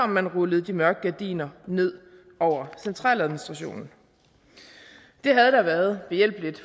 man rullede de mørke gardiner ned over centraladministrationen det havde da været behjælpeligt